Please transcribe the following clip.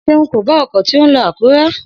Seun kò bá ọkọ̀ tí ó ń lọ Akure|